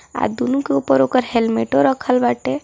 अ दोनों के ऊपर ऊकर हेलमेट रखल बाटे।